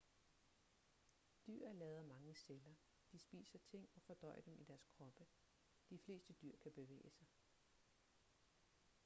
dyr er lavet af mange celler de spiser ting og fordøjer dem i deres kroppe de fleste dyr kan bevæge sig